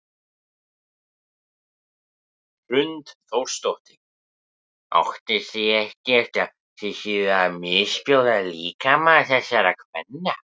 Hrund Þórsdóttir: Óttist þið ekkert að þið séuð að misbjóða líkama þessara kvenna?